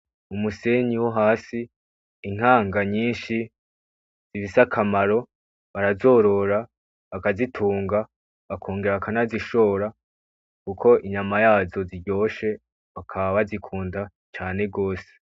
Umusenyi wohasi intanga nyinshi zifise akamaro barazorora, bakazitunga bakongera bakanazishora kuko inyama yazo ziryoshe bakaba bazikunda cane rwose.